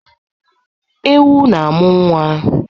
Ewu na-amụ nwa.